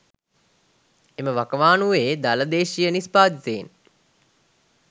එම වකවානුවේ දළ දේශීය නිෂ්පාදිතයෙන්